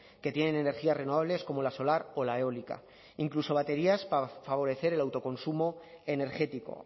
que tienen en energías renovables como la solar o la eólica incluso baterías para favorecer el autoconsumo energético